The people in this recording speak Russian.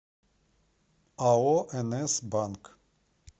ао нс банк